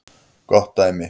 Gott dæmi